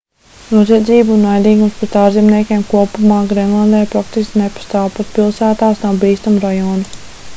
noziedzība un naidīgums pret ārzemniekiem kopumā grendlandē praktiski nepastāv pat pilsētās nav bīstamu rajonu